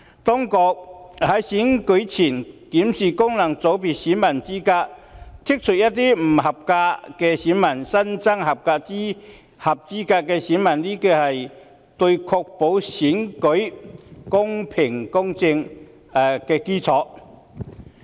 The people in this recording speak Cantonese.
當局在選舉前檢視功能界別選民資格，刪除一些不合資格的選民，新增合資格的選民，可確保選舉公平公正。